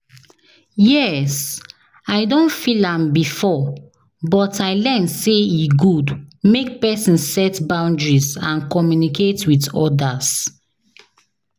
yes, i don feel am before, but i learn say e good make pesin set boundaries and communicate with odas.